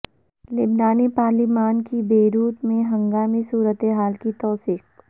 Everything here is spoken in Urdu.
لبنانی پارلیمان کی بیروت میں ہنگامی صورتحال کی توثیق